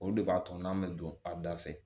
Olu de b'a to n'an bɛ don a da fɛ